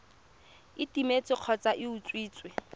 e timetse kgotsa e utswitswe